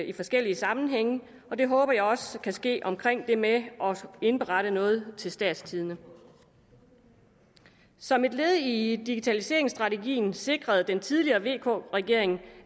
i forskellige sammenhænge og det håber jeg også kan ske omkring det med at indberette noget til statstidende som et led i digitaliseringsstrategien sikrede den tidligere vk regering